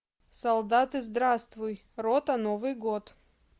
солдаты здравствуй рота новый год